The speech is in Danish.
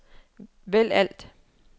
vælg alt